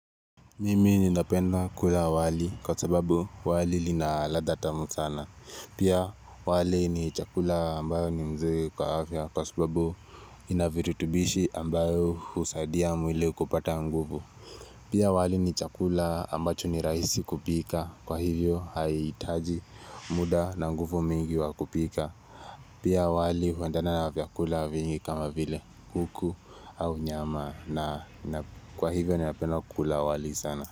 Mimi ninapenda kula wali kwa sababu wali linaladha tamu sana. Pia wali ni chakula ambayo ni mzuri kwa afya kwa sababu inaviritubishi ambayo husadia mwili kupata nguvu. Pia wali ni chakula ambacho ni rahisi kupika kwa hivyo haiitaji muda na nguvu mingi wa kupika. Pia wali huendana na vyakula vingi kama vile kuku au nyama na kwa hivyo ninapenda kula wali sana.